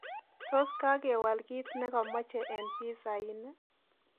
tos kagewol kiit negamache eng pissa inn